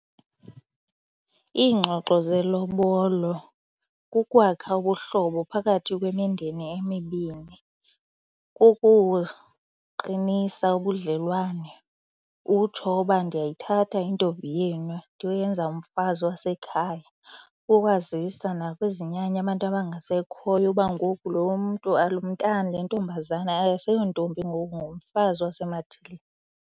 Iingxoxo zelobolo kukwakha ubuhlobo phakathi kwemindeni emibini. Kukuqinisa ubudlelwane utsho uba ndiyayithatha intombi yenu ndiyoyenza umfazi wasekhaya. Kukwazisa nakwizinyanya abantu abangasekhoyo uba ngoku lo mntu lo mntana le ntombazana akaseyontombi ngoku ngumfazi waseMathilini.